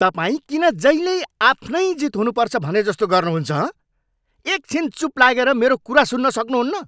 तपाईँ किन जहिल्यै आफ्नै जित हुनुपर्छ भनेजस्तो गर्नुहुन्छ, हँ? एक छिन चुप लागेर मेरो कुरा सुन्न सक्नुहुन्न?